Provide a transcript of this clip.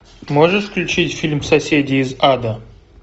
можешь включить фильм соседи из ада